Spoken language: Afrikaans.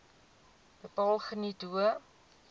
bepaal geniet hoë